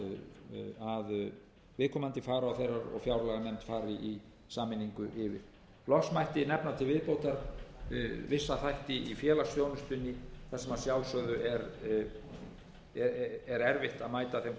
viðkomandi og fjárlaganefnd fari í sameiningu yfir loks mætti nefna til viðbótar vissa þætti í félagsþjónustunni þar sem að sjálfsögðu er erfitt að mæta þeim kröfum um